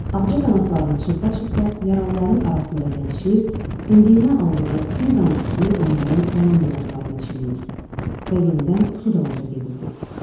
Ağca qanadlarını çırpa-çırpa yaralıların arasında gəzişir, dimdiyinə aldığı bir damcı suyu onların yanan dodaqlarına çilləyir və yenidən su dalınca gedirdi.